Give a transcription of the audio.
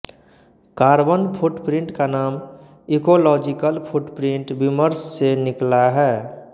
carbon footprint का नाम ecological footprint विमर्श से निकला है